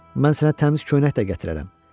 Mən sənə təmiz köynək də gətirərəm.